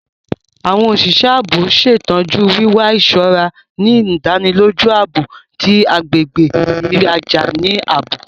Awọn oṣiṣẹ ààbò ṣetọju wiwa iṣọra, ni ìdánilójú ààbò ti agbègbè riraja ni ààbò